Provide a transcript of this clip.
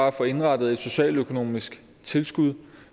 at få indrettet et socialøkonomisk tilskud